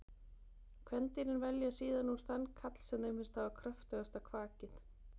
kvendýrin velja síðan úr þann karl sem þeim finnst hafa kröftugasta kvakið